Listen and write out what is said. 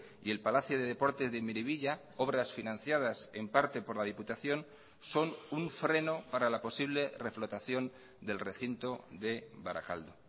y el palacio de deportes de miribilla obras financiadas en parte por la diputación son un freno para la posible reflotación del recinto de barakaldo